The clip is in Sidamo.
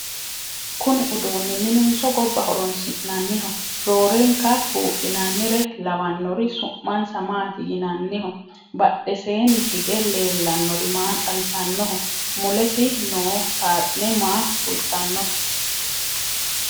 kuni uduuni minenso gobba horonsi'nanniho? roorenka buudhinannire lawannori su'masna maati yinanniho? badheseenni hige leellannori maa xawisannoho? mulesi noo saaxine maa kultannote